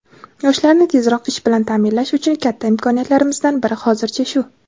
Yoshlarni tezroq ish bilan ta’minlash uchun katta imkoniyatlarimizdan biri hozircha shu.